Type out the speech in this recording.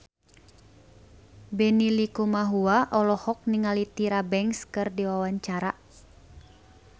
Benny Likumahua olohok ningali Tyra Banks keur diwawancara